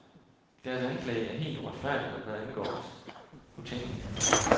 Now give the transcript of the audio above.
Deres anklage er helt uretfærdig, og hvad angår os, utænkelig.